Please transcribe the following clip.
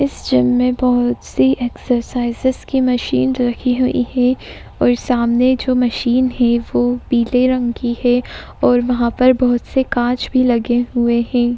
इस जिम में बहुत सी एक्सरसाइजेस की मशीन रखी हुई है और सामने जो मशीन है वो पीले रंग की है और वहा पर बहुत से कांच भी लगे हुए है।